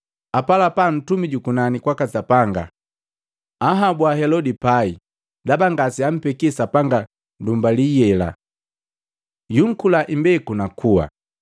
Apalapala Ntumi jukunani kwaka Sapanga anhabua Helodi pai ndaba ngaseampekia Sapanga ndumbali yela. Yunkula imbeku nakuwa.